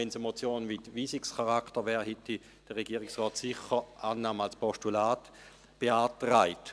Wäre es eine Motion mit Weisungscharakter, hätte der Regierungsrat sicher Annahme als Postulat beantragt.